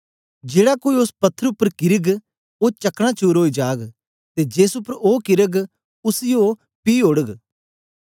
जेड़ा कोई ओस पत्थर उपर किरग ओ चकना चूर ओई जाग ते जेस उपर ओ किरग उसी ओ पीह् ओड़ग